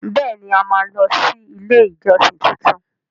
Bẹẹni! A máa lọ sí ilé ìjọsìn tuntun.